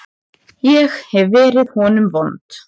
Ég hef verið honum vond.